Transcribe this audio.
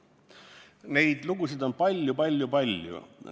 Neid lugusid on palju-palju-palju.